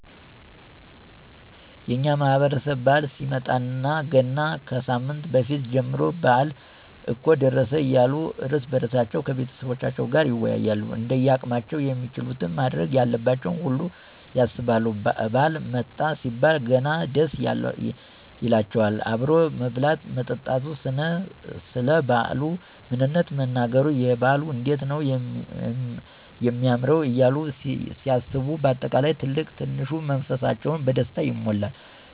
የእኛ ማህበረሰብ በዓል ሲመጣለት ገና ከሳምንት በፊት ጀምሮ በአል እኮ ደረሰ እያሉ እርስ በእርሳቸዉ ከቤተሰቦቻቸዉም ጋር ይወያያሉ እንደያቅማቸዉም የሚችሉትን ማድረግ ያለባቸውን ሁሉ ያሰባሉ ባዓል መጣ ሲባል ገና ደስ ይላቸዋል አብሮ መብላት መጠጣቱ፣ ሰለ ባዓሉ ምንነት መነጋገሩ፣ የበዓል እንዴት ነዉ የማምረዉ እያሉ ሲያስቡ በአጠቃላይ ትልቅ ትንሹ መንፈሳቸዉ በደስታ ይሞላል።